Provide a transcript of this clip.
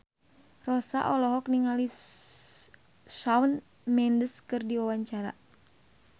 Rossa olohok ningali Shawn Mendes keur diwawancara